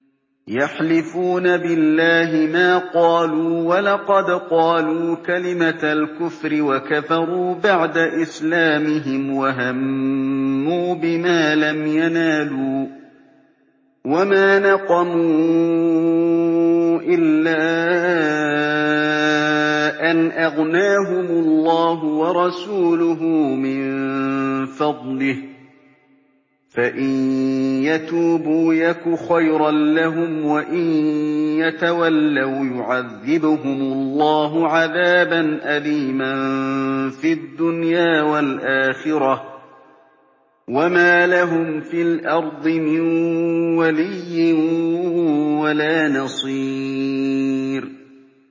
يَحْلِفُونَ بِاللَّهِ مَا قَالُوا وَلَقَدْ قَالُوا كَلِمَةَ الْكُفْرِ وَكَفَرُوا بَعْدَ إِسْلَامِهِمْ وَهَمُّوا بِمَا لَمْ يَنَالُوا ۚ وَمَا نَقَمُوا إِلَّا أَنْ أَغْنَاهُمُ اللَّهُ وَرَسُولُهُ مِن فَضْلِهِ ۚ فَإِن يَتُوبُوا يَكُ خَيْرًا لَّهُمْ ۖ وَإِن يَتَوَلَّوْا يُعَذِّبْهُمُ اللَّهُ عَذَابًا أَلِيمًا فِي الدُّنْيَا وَالْآخِرَةِ ۚ وَمَا لَهُمْ فِي الْأَرْضِ مِن وَلِيٍّ وَلَا نَصِيرٍ